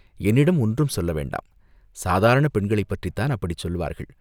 என்னிடம் ஒன்றும் சொல்ல வேண்டாம், சாதாரணப் பெண்களைப்பற்றித்தான் அப்படிச் சொல்லுவார்கள்.